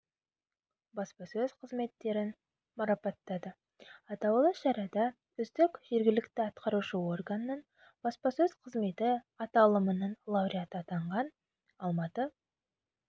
баспасөз қызметтерін марапаттады атаулы шарада үздік жергілікті атқарушы органның баспасөз қызметі аталымының лауреаты атанған алматы